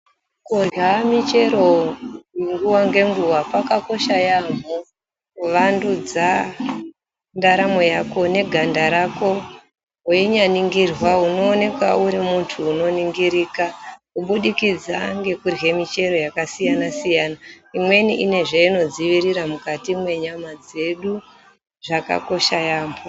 Kurya michero nguwa ngenguwa kwakakosha yamho, kuvandudza ndaramo yako neganda rako, weinyaningirwa unoonekwa uri muntu unoningirika, kubudikidza ngekurya michero yakasiyana-siyana, imweni inezvayinodziyirira mukati mwenyama dzedu ,zvakosha yambo.